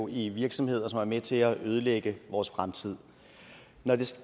i virksomheder som er med til at ødelægge vores fremtid når det